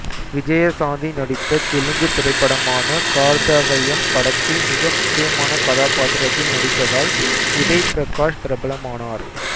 விஜயசாந்தி நடித்த தெலுங்கு திரைப்படமான கார்தவயம் படத்தில் மிக முக்கியமான கதாபாத்திரத்தில் நடித்ததால் உதய் பிரகாஷ் பிரபலமானார்